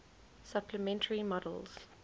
supplementary models